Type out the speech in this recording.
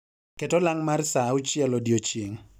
ket olang' mar saa auchiel odiechieng'